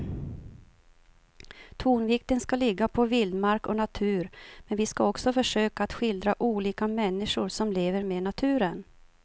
Tonvikten ska ligga på vildmark och natur men vi ska också försöka att skildra olika människor som lever med naturen.